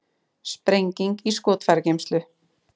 Sprenging í skotfærageymslu